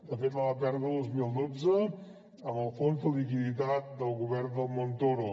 de fet la va perdre el dos mil dotze amb el fons de liquiditat del govern de montoro